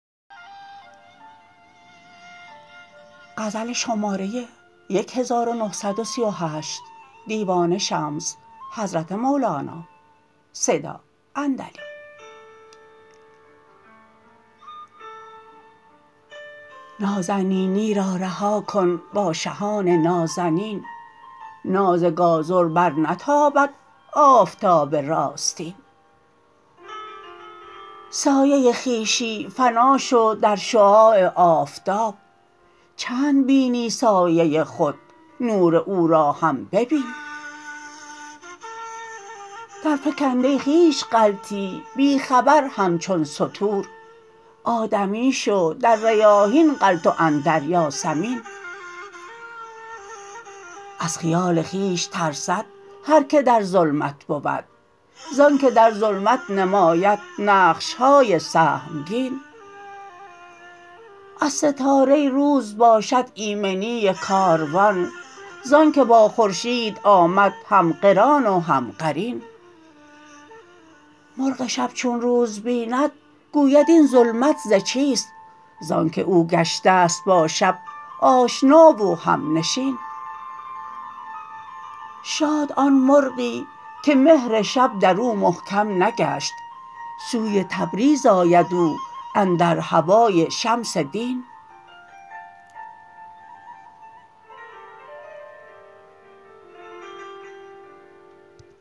نازنینی را رها کن با شهان نازنین ناز گازر برنتابد آفتاب راستین سایه خویشی فنا شو در شعاع آفتاب چند بینی سایه خود نور او را هم ببین درفکنده ای خویش غلطی بی خبر همچون ستور آدمی شو در ریاحین غلط و اندر یاسمین از خیال خویش ترسد هر کی در ظلمت بود زان که در ظلمت نماید نقش های سهمگین از ستاره روز باشد ایمنی کاروان زانک با خورشید آمد هم قران و هم قرین مرغ شب چون روز بیند گوید این ظلمت ز چیست زانک او گشته ست با شب آشنا و همنشین شاد آن مرغی که مهر شب در او محکم نگشت سوی تبریز آید او اندر هوای شمس دین